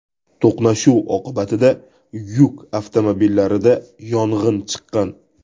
To‘qnashuv oqibatida yuk avtomobillarida yong‘in chiqqan.